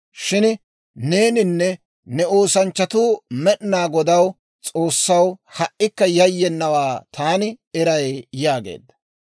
Shin neeninne ne oosanchchatuu Med'inaa Godaw S'oossaw ha"ikka yayyenawaa taani eray» yaageedda.